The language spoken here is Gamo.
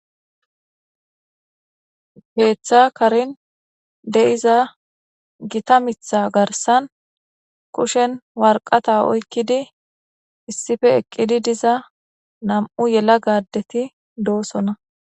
Keeththa karin de iza gita mitha garsan kushen warqata oykkidi issife eqqidi diza nam7u yela gaddeti doosona